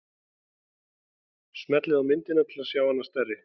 Smellið á myndina til þess að sjá hana stærri.